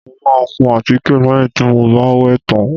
Mo máa kun àtíkè lẹ́yìn tí mo bá wẹ̀ tán